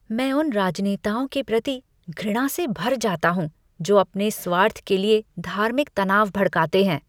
मैं उन राजनेताओं के प्रति घृणा से भर जाता हूँ जो अपने स्वार्थ के लिए धार्मिक तनाव भड़काते हैं।